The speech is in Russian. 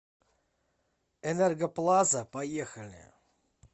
энергоплаза поехали